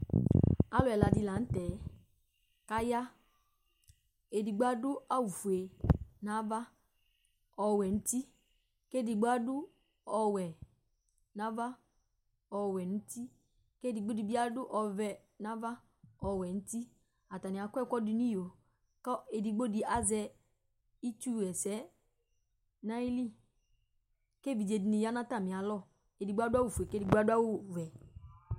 Alu ɛla di laŋtɛ kayaedigbo adʋ awu fue nava, ɔwɛ nu utiKedigbo adu ɔwɛ nava, ɔwɛ nutiKedigbo dibi adu ɔvɛ nava, ɔwɛ nutiAtani akɔ ɛkʋ dunʋ iyoKʋ edigbo dibi azɛ itsu ɣɛsɛ nayiliKevidze dini yanʋ atamialɔEdigbo adʋ awu fue, kedigbo adʋ awu vɛ